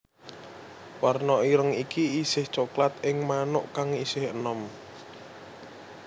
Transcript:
Warna ireng iki isih coklat ing manuk kang isih enom